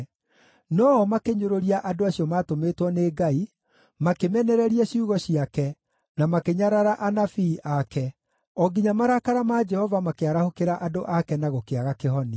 No-o makĩnyũrũria andũ acio maatũmĩtwo nĩ Ngai, makĩmenereria ciugo ciake, na makĩnyarara anabii ake, o nginya marakara ma Jehova makĩarahũkĩra andũ ake na gũkĩaga kĩhonia.